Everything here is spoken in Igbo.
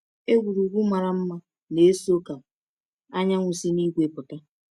Egwurugwu mara mma na-eso ka anyanwụ si n’igwe pụta.